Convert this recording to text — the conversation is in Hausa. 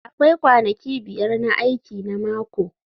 Akwai kwanaki biyar na aiki na mako